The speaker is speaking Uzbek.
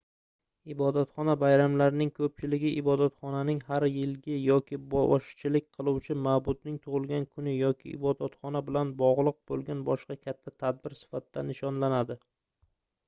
ibodatxona bayramlarining koʻpchiligi ibotxonaning har yilgi yoki boshchilik qiluvchi maʼbudning tugʻilgan kuni yoki ibodatxona bilan bogʻliq boʻlgan boshqa katta tadbir sifatida nishonlanadi